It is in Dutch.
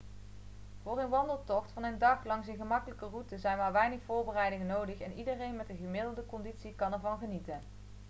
voor een wandeltocht van een dag langs een gemakkelijke route zijn maar weinig voorbereidingen nodig en iedereen met een gemiddelde conditie kan ervan genieten